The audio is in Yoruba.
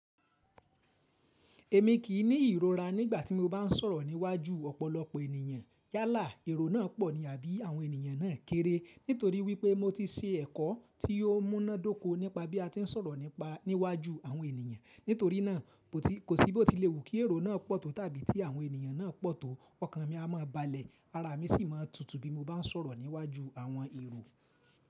Èmi kì í ní ìrora nígbà tí mo bá ń sọ̀rọ̀ níwájú ọ̀pọ̀lọpọ̀ ènìyàn. Yálà èrò náà pọ̀ ní àbí àwọn ènìyàn náà kéré. Nítorí wípé mo ti se ẹ̀kọ́ tí yóò múná dóko nípa bí a ti ń sọ̀rọ̀ nípa níwájú àwọn ènìyàn. Nítorí náà kò sí bó tí lè wù kí èrò náà pọ̀ tò tàbí tí àwọn ènìyàn náà pọ̀ tò. Ọkàn mi a máa balẹ̀, ara mi sì máa tutù bí mo bá ń sọ̀rọ̀ níwájú àwọn èrò.